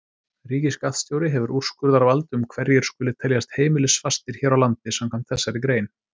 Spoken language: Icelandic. Ríkisskattstjóri hefur úrskurðarvald um hverjir skuli teljast heimilisfastir hér á landi samkvæmt þessari grein.